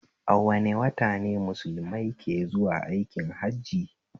A wane wata ne mulusmai ke zuwa aikin hajji?